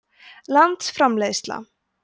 landsframleiðsla